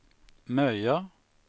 Möja